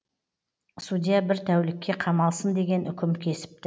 судья бір тәулікке қамалсын деген үкім кесіпті